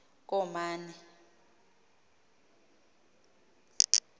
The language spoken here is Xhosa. komane